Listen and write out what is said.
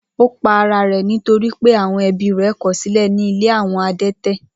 Ó pa ara rẹ̀ nítorí pé àwọn ẹbí rẹ̀ kọ̀ ọ́ sílẹ̀ ní ilé àwọn adẹ́tẹ̀.